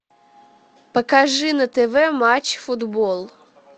покажи на тв матч футбол